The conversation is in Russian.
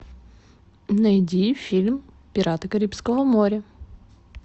найди фильм пираты карибского моря